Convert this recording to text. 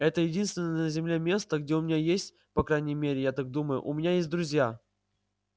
это единственное на земле место где у меня есть по крайней мере я так думаю у меня есть друзья